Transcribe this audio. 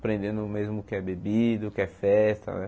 Aprendendo mesmo o que é bebida, o que é festa, né?